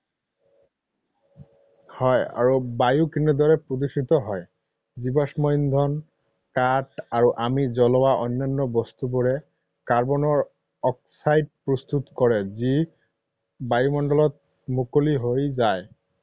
হয়, আৰু বায়ু কেনেদৰে প্ৰদূষিত হয়? জীৱাশ্ম ইন্ধন, কাঠ আৰু আমি জ্বলোৱা অন্যান্য বস্তুবোৰে কাৰ্বনৰ অক্সাইড প্ৰস্তুত কৰে যি বায়ুমণ্ডলত মুকলি হৈ যায়।